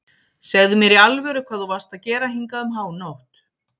Segðu mér í alvöru hvað þú varst að gera hingað um hánótt.